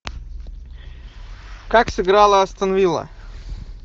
как сыграла астон вилла